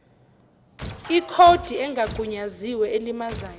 ikhodi engagunyaziwe elimazayo